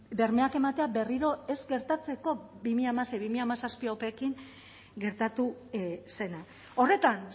bermeak ematea berriro ez gertatzeko bi mila hamasei bi mila hamazazpi opeekin gertatu zena horretan